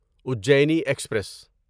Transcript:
Ajni express